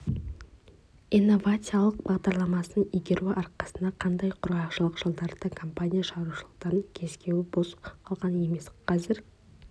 инновациялық бағдарламасын игеру арқасында қандай құрғақшылық жылдары да компания шаруашылықтарының кеусені бос қалған емес қазір